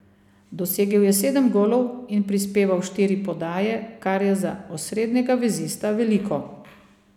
Dosegel je sedem golov in prispeval štiri podaje, kar je za osrednjega vezista veliko.